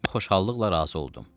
Mən xoşhallıqla razı oldum.